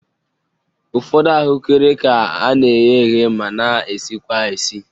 Ụfọdụ ahụekere ka a na-eghe eghe ma na-esikwa esi